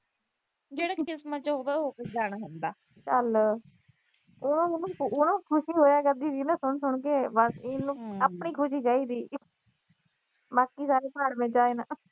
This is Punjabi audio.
ਜਿਹੜਾ ਕਿਸਮਤ ਚ ਹੋਊਗਾ, ਉਹ ਤਾਂ ਹੋ ਜਾਣਾ ਹੁੰਦਾ। ਉਹ ਨਾ ਖੁਸ਼ ਹੋਇਆ ਕਰਦੀ ਸੀ ਸੁਣ ਸੁਣ ਕੇ। ਬਸ ਇਹਨੂੰ ਆਪਣੀ ਖੁਸ਼ੀ ਚਾਹੀਦੀ। ਬਾਕੀ ਸਾਰੇ ਭਾੜ ਮੇਂ ਜਾਏ ਨਾ।